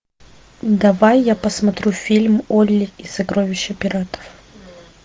давай я посмотрю фильм олли и сокровища пиратов